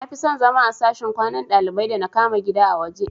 Nafison zama a sashin kwanan dalibai da na kama gida a waje